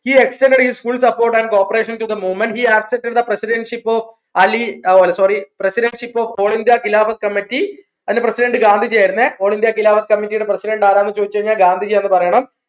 he extended his full support and corporation to the movement he acted in the presidentship of Ali ഓ അല്ല sorry presidentship of whole india khilafath committee അതിൻറെ president Gandhiji ആയിരുന്നേ whole India khilafath committee യുടെ president ആരാന്ന് ചോദിച്ചു കഴിഞ്ഞാൽ ഗാന്ധിജി ആന്ന് പറയണം